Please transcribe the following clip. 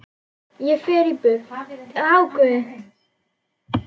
Ég fer burt.